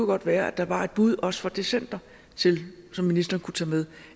godt være at der var et bud også fra det center som ministeren kunne tage med